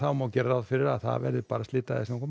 má gera ráð fyrri að það verði slydda eða snjókoma